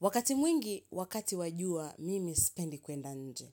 Wakati mwingi, wakati wa jua, mimi sipendi kwenda nje.